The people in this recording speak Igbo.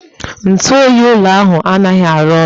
Ntụ oyi ụlọ ahụ anaghị arụ ọrụ